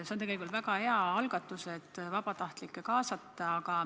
See on tegelikult väga hea algatus, et vabatahtlikke kaasata.